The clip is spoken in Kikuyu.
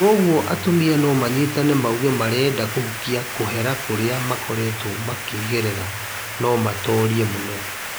"Korwo atumia no manyitane mauge marenda kũhukia kũhera kũrĩa makoretwo makĩgerera no matorie mũno.